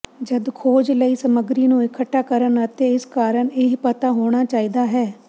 ਜਦ ਖੋਜ ਲਈ ਸਮੱਗਰੀ ਨੂੰ ਇਕੱਠਾ ਕਰਨ ਅਤੇ ਇਸ ਕਾਰਨ ਇਹ ਪਤਾ ਹੋਣਾ ਚਾਹੀਦਾ ਹੈ